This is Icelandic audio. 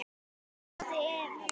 Varðandi Evrópu?